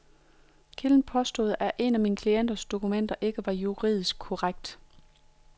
Kilden påstod, at et af min klients dokumenter ikke var juridisk korrekt.